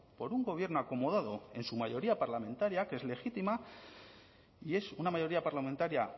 por un gobierno acomodado en su mayoría parlamentaria que es legítima y es una mayoría parlamentaria